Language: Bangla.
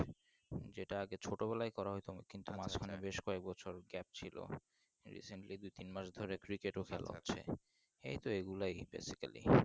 যেটা আগে ছোটো বেলায় করা হতো কিন্তু মাঝখানে বেশ কয়েক বছর gap ছিলো recently দুই তিন মাস ধরে cricket ও খেলা হচ্ছে এই তো এইগুলোই Basically